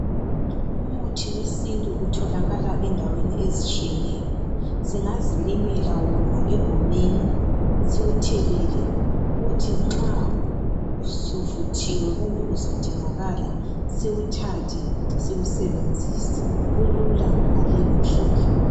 Umuthi wesintu utholakala endaweni ezitshiyeneyo zingazilimela wona egumeni siwuthelele kuthi nxa suvuthiwe kumbe usudingakala siwuthathe siwusebenzise kulula ngaleyo ndlela